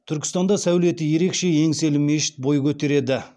түркістанда сәулеті ерекше еңселі мешіт бой көтереді